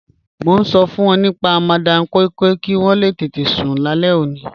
Mọ̀ n ṣọ fun wọn nípa Madam Koi Koi kí wọn lè tẹtẹ̀ sún làlẹ̀ ọ̀ní.